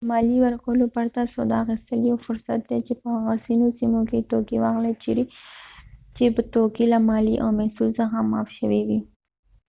د ماليې ورکولو پرته سودا اخيستل يو فرصت دی چې په هغه ځینو سيمو کې توکي واخلئ چيرې چې توکې له ماليې او محصول څخه معاف شوي وي